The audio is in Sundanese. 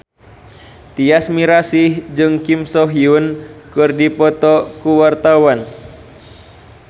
Tyas Mirasih jeung Kim So Hyun keur dipoto ku wartawan